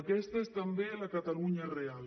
aquesta és també la catalunya real